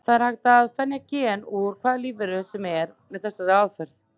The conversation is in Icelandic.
Það er hægt að ferja gen úr hvaða lífveru sem er með þessari aðferð.